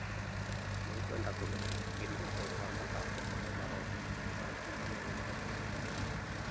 Nĩngwenda kũmenya makĩria ũhoro wa mathako marĩa maroka ma jumuiya ya madola